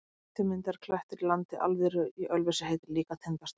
Hár strýtumyndaður klettur í landi Alviðru í Ölfusi heitir líka Tindastóll.